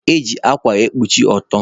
Eji akwa ekpuchi ọtọ